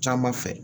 Caman fɛ